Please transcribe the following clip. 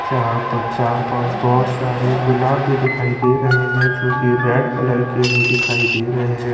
यहां पर चार पांच बहोत सारे गुलाब भी दिखाई दे रहे है जोकि रेड कलर के भी दिखाई दे रहे हैं।